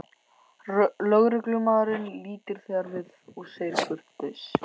Lögreglumaðurinn lítur þegar við og segir kurteis